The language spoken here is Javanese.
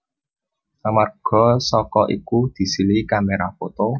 Amarga saka iku disilihi kamera foto